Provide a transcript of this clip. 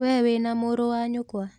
Wee wĩna mũrũ wa nyũkwa?